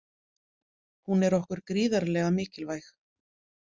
Hún er okkur gríðarlega mikilvæg.